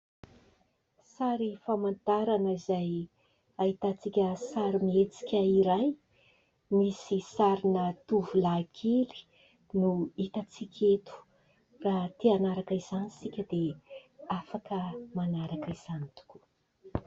Sary famantarana izay ahitantsika sarimihetsika iray, misy sarina tovolahy kely no hitatsika eto ; raha ity hanaraka izany isika dia afaka manaraka izany tokoa.